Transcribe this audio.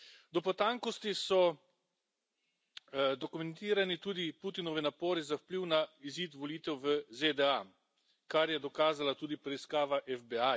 Do potankosti so dokumentirani tudi Putinovi napori za vpliv na izid volitev v ZDA, kar je dokazala tudi preiskava FBI.